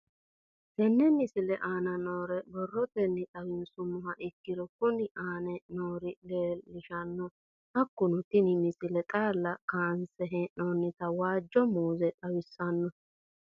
Tenne misile aana noore borrotenni xawisummoha ikirro kunni aane noore leelishano. Hakunno tinni misile xaala kaanse heenonita waajo muuze xawissanno.